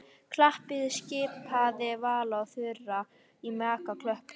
Klappiði skipaði Vala og Þura og Maja klöppuðu.